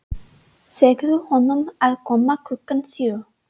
Segðu honum að koma klukkan sjö.